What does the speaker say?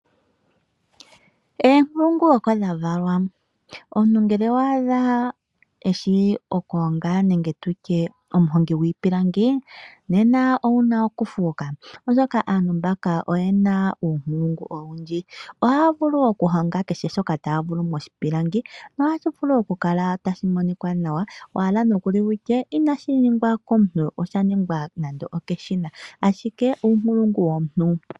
Oonkulungu oko dha valwa. Omuntu ngele owa adha eshi oku honga nenge tutye omuhongi gwiipilangi nena owuna oku fuuka, oshoka aantu mbaka oyena uunkulungu owundji, oshoka ohaya vulu oku honga kehe shimwe moshipilangi, tashi vulu oku kala tashi monika nawa, wahala nokuli wutye inashi ningwa komuntu, osha ningwa nando okeshina, ashike uunkulungu womuntu.